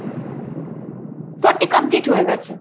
Forty complete হয়ে গেছে।